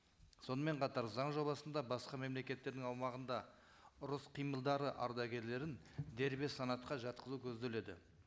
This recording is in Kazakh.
сонымен қатар заң жобасында басқа мемлекеттердің аумағында ұрыс қимылдары ардагерлерін дербес санатқа жатқызу көзделеді